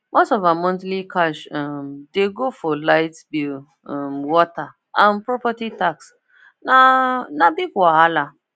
most of her monthly cash um dey go for light bill um water and property tax na na big wahala